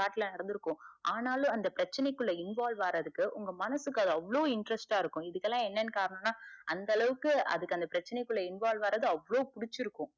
ஆனாலும் அந்த பிரச்சன குள்ள involve ஆறதுக்கு உங்க மனசுக்கு அது அவ்ளோ interest ஆ இருக்கும் இதுக்கல்லா என்னன்னு காரணம்னா அந்த அளவுக்கு அதுக்கு அந்த பிரச்சனை குள்ள involve ஆறது அவ்ளோ புடிச்சி இருக்கும்.